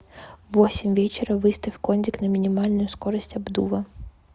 в восемь вечера выставь кондик на минимальную скорость обдува